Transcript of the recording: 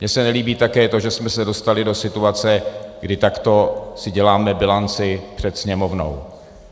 Mně se nelíbí také to, že jsme se dostali do situace, kdy takto si děláme bilanci před Sněmovnou.